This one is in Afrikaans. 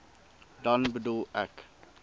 dan bedoel ek